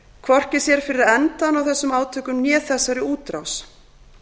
hvorki sér fyrir endann á þessum átökum né þessari útrás